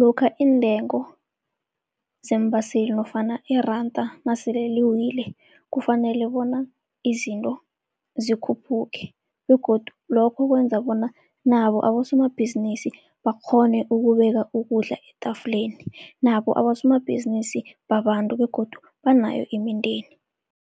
lokha iintengo zeembaseli nofana iranda nasele liwile, kufanele bona izinto zikhuphuke. Begodu lokho kwenza bona nabo abosomabhizinisi bakghone ukubeka ukudla etafuleni, nabo abosomabhizinisi babantu begodu banayo imindeni.